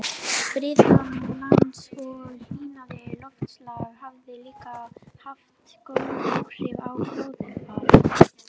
Friðun lands og hlýnandi loftslag hafa líka haft góð áhrif á gróðurfar.